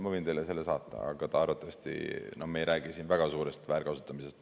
Ma võin teile saata, aga me ei räägi siin väga suurest väärkasutamisest.